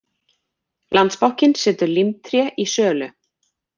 Landsbankinn setur Límtré í sölu